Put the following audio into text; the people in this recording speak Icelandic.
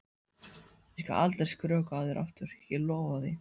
Ég skal aldrei skrökva að þér aftur, ég lofa því.